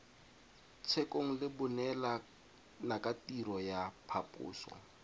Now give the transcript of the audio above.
tshekong le baneelanakatirelo ya phaposo